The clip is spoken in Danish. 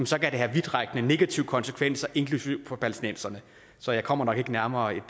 så kan det have vidtrækkende negative konsekvenser inklusive for palæstinenserne så jeg kommer nok ikke nærmere et